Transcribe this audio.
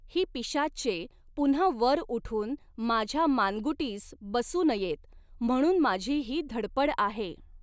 ही पिशाच्चे पुन्हा वर उठून माझ्या मानगुटीस बसू नयेत, म्हणून माझी ही धडपड आहे.